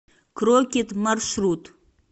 крокид маршрут